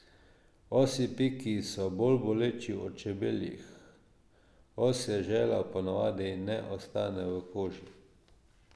Osji piki so bolj boleči od čebeljih, osje želo pa ponavadi ne ostane v koži.